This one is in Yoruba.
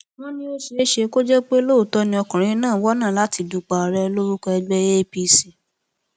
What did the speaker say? wọn ní ó ṣeé ṣe kó jẹ pé lóòótọ ni ọkùnrin náà ń wọnà láti dupò ààrẹ lórúkọ ẹgbẹ apc